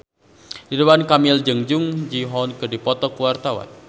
Ridwan Kamil jeung Jung Ji Hoon keur dipoto ku wartawan